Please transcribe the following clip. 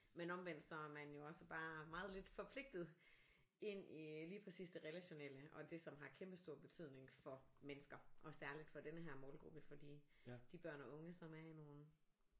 Men omvendt så er man jo også bare meget lidt forpligtet ind i lige præcis det relationelle og det som har kæmpestor betydning for mennesker og særligt for denne her målgruppe fordi de børn og unge som er i nogle